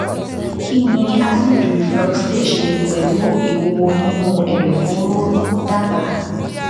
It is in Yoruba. kí ni acid reflux lè ṣe pẹlú ìwúwo nínú ẹdọfóró dábàá